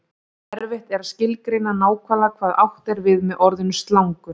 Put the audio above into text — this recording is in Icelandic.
erfitt er að skilgreina nákvæmlega hvað átt er við með orðinu slangur